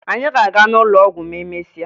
Anyị ga-aga n'ụlọ ọgwụ ma emesịa